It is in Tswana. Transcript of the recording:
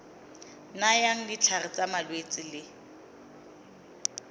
nayang ditlhare tsa malwetse le